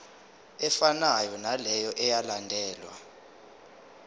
efanayo naleyo eyalandelwa